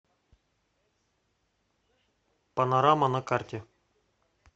панорама на карте